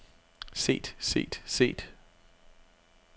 set set set